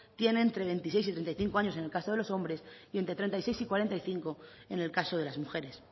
tiene entre veintiséis y treinta y cinco años en el caso de los hombres y entre treinta y seis y cuarenta y cinco en el caso de las mujeres